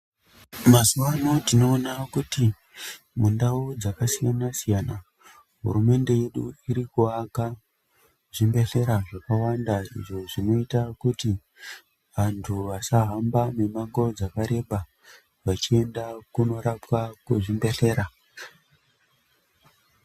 Mazuwaano tinoona kuti, mundau dzakasiyana-siyana, hurumende yedu iri kuaka, zvibhedhlera zvakawanda izvo zvinoita kuti, anthu asahamba mimango dzakareba ,vachienda kunorapwa kuzvibhedhlera.